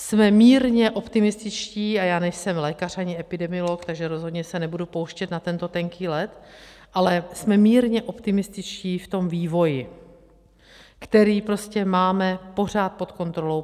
Jsme mírně optimističtí - a já nejsem lékař ani epidemiolog, takže rozhodně se nebudu pouštět na tento tenký led, ale jsme mírně optimističtí v tom vývoji, který prostě máme pořád pod kontrolou.